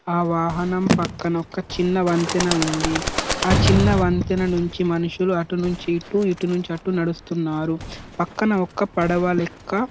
ఆ వాహనం పక్కన ఒక చిన్న వంతెన వుంది ఆ చిన్న వంతెన నుండి మనుషులు అటు నుండి ఇటు ఇటు నుండి అటు నడుస్తున్నారు పక్కన ఒక పడవ లెక్క --